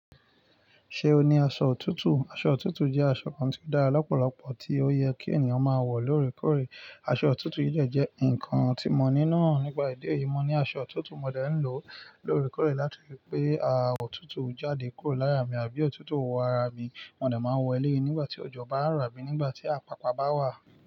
Ṣé o ní aṣọ òtútù? Aṣọ òtútù jẹ́ aṣọ kan tí ó dára lọ́pọ̀lọpọ̀ tí ó yẹ kí ènìyàn máa wọ̀ lóòrèkóòrè. Aṣọ òtútù yìí jẹ́ ǹkan tí mo ní náà. Nígbà ìdí èyí, mo ní aṣọ òtútù mo dẹ̀ ń lò lóòrèkóòrè láti ri pè àwọn òtútù jáde kúrò lára mi àbí òtútù o wọ ara mi. Mo dẹ̀ máa wọ̀ ẹ lẹ́yìn nígbà tí òjò bá ń ro abíi nígbà tí àpàpá bá wà.